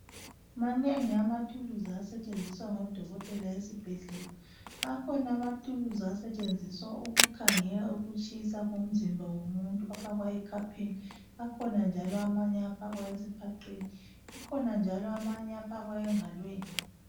Manengi amathuluzi asetshenziswa ngodokotela esibhedlela. Akhona amathuluzi asetshenziswa ukukhangela ukutshisa komzimba komuntu afakwa ekhwapheni, akhona njalo amanye afakwa esiphaqeni akhona njalo amanye afakwa engalweni.